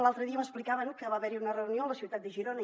l’altre dia m’explicaven que va haver hi una reunió a la ciutat de girona